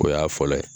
O y'a fɔlɔ ye